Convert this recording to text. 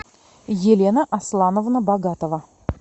елена асламовна богатова